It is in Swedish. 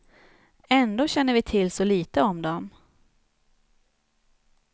Ändå känner vi till så lite om dem.